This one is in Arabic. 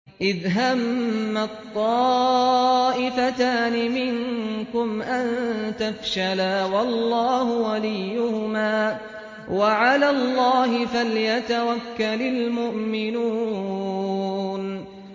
إِذْ هَمَّت طَّائِفَتَانِ مِنكُمْ أَن تَفْشَلَا وَاللَّهُ وَلِيُّهُمَا ۗ وَعَلَى اللَّهِ فَلْيَتَوَكَّلِ الْمُؤْمِنُونَ